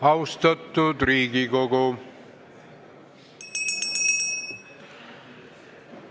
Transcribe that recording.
Austatud Riigikogu!